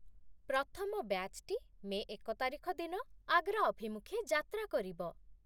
ପ୍ରଥମ ବ୍ୟାଚ୍ଟି ମେ ଏକ ତାରିଖ ଦିନ ଆଗ୍ରା ଅଭିମୁଖେ ଯାତ୍ରା କରିବ।